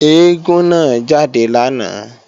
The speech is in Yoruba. Eégún náà jáde lánàá